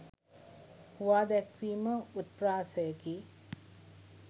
හුවා දැක්වීම උත්ප්‍රාසයකි.